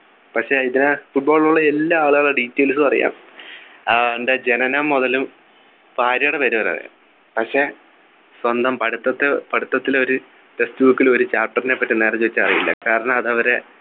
പക്ഷെ അതിനു Football ലുള്ള എല്ലാ ആളുകളുടെ Details ഉം അറിയാം അവൻ്റെ ജനനം മുതലും ഭാര്യയുടെ പേര് വരെ അറിയാം പക്ഷേ സ്വന്തം പഠിത്തത്തിൽ പഠിത്തത്തിൽ ഒരു Textbook ൽ ഒരു chapter നെപ്പറ്റി നേരെ ചോദിച്ചാ അറിയില്ല കാരണം അത് അവരെ